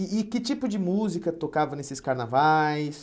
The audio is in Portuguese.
E e que tipo de música tocava nesses carnavais?